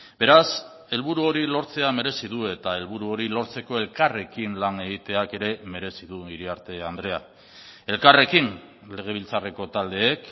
beraz helburu hori lortzea merezi du eta helburu hori lortzeko elkarrekin lan egiteak ere merezi du iriarte andrea elkarrekin legebiltzarreko taldeek